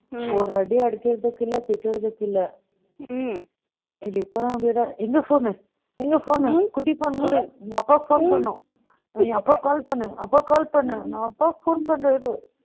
ஒரு அடி அடிச்சதுக்குள்ள திட்டுறதுக்குள்ள, ம், எங்க phone எங்க phone குட்டி phone, உங்க அப்பாக்கு phone பண்ணணும். எங்க அப்பாக்கு call பண்ணுங்க. அப்பாக்கு call பண்ணு. நான் அப்பாக்கு phone பண்றேன் இரு